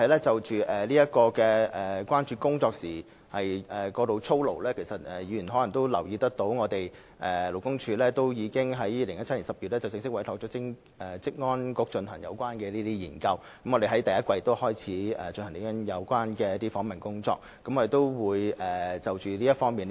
至於工作過勞的問題，議員可能留意到，勞工處已在2017年10月正式委託職安局進行有關研究，相關訪問工作已於本年第一季展開。